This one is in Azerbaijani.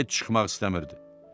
Heç çıxmaq istəmirdi.